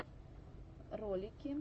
ролики